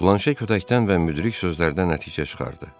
Planşe kötəkdən və müdrik sözlərdən nəticə çıxardı.